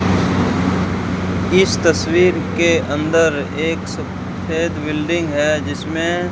इस तस्वीर के अंदर एक सफेद बिल्डिंग है जिसमें --